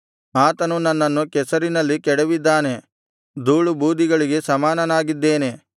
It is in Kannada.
ಆತನು ನನ್ನನ್ನು ಕೆಸರಿನಲ್ಲಿ ಕೆಡವಿದ್ದಾನೆ ಧೂಳುಬೂದಿಗಳಿಗೆ ಸಮಾನನಾಗಿದ್ದೇನೆ